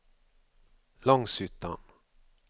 Långshyttan